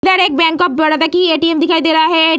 इधर एक bank of Baroda की ऐ.टी एम. दिखाई दे रहा है।